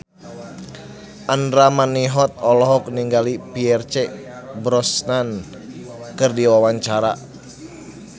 Andra Manihot olohok ningali Pierce Brosnan keur diwawancara